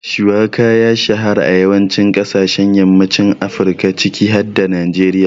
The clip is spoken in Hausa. Shuwaka ya shahara a yawancin kasashen yammacin Afirka ciki har da Najeriya.